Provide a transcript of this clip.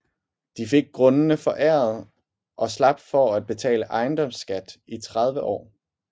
De fik grundene foræret og slap for at betale ejendomsskat i 30 år